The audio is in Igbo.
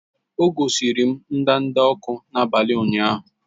O gosiri m ndanda ọkụ n'abalị ụnyaahụ